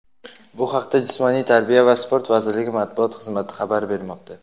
Bu haqda Jismoniy tarbiya va sport vazirligi Matbuot xizmati xabar bermoqda.